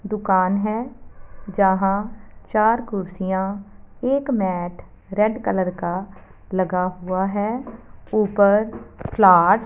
दुकान है जहां चार कुर्सियां एक मैट रेड कलर का लगा हुआ है ऊपर फ्लावर्स --